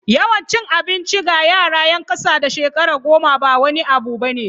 Yawan cin abinci ga yara 'yan kasa da shekara goma ba wani abu bane.